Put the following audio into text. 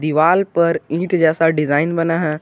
दीवाल पर इट जैसा डिजाइन बना है।